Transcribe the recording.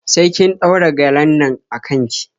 Sai kin ɗaura gyalen nan a kan ki.